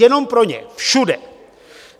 Jenom pro ně, všude.